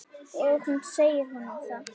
Og hún segir honum það.